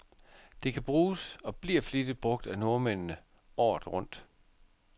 Det kan bruges, og bliver flittigt brug af nordmændene, året rundt.